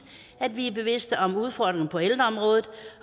at vi er bevidst om udfordringerne på ældreområdet